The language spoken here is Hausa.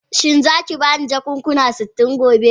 Shin za a ki ba ni jakuna sitin gobe?